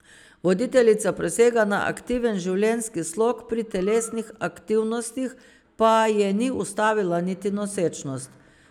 Voditeljica prisega na aktiven življenjski slog, pri telesnih aktivnostih pa je ni ustavila niti nosečnost.